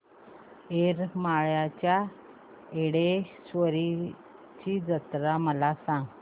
येरमाळ्याच्या येडेश्वरीची जत्रा मला सांग